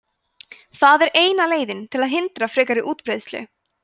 það er eina leiðin til að hindra frekari útbreiðslu